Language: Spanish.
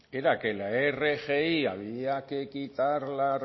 era que la rgi había que quitarla